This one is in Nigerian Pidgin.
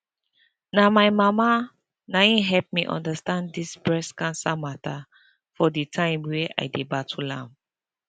na my mama na him help me understand dis breast cancer mata for de time wey i dey battle am